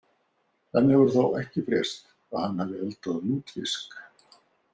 Enn hefur þó ekki frést að hann hafi eldað lútfisk.